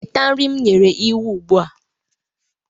Weta nri m nyere iwu ugbu a.